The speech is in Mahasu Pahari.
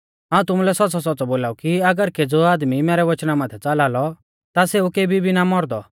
हाऊं तुमुलै सौच़्च़ौसौच़्च़ौ बोलाऊ कि अगर केज़ौ आदमी मैरै वच़ना माथै च़ाला लौ ता सेऊ केबी भी ना मौरदौ